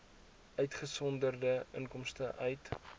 uitgesonderd inkomste uit